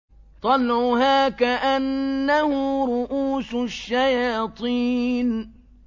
طَلْعُهَا كَأَنَّهُ رُءُوسُ الشَّيَاطِينِ